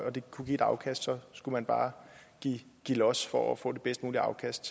og det kunne give et afkast så skulle man bare give los for at få det bedst mulige afkast